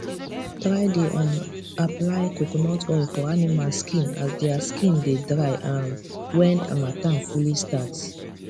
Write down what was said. try dey um apply coconut oil for animals skin as dia skin dey dry um wen hamattan fully start